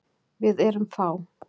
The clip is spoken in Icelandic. Við erum fá.